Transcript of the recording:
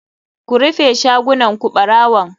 Ku rufe shagunan ku barawon.